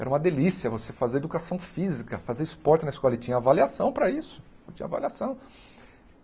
Era uma delícia você fazer educação física, fazer esporte na escola e tinha avaliação para isso, tinha avaliação.